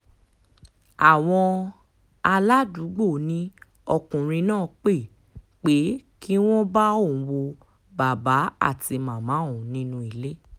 àwọn aládùúgbò ni ọkùnrin náà pé pé kí wọ́n bá òun wọ bàbá àti màmá òun nínú ilé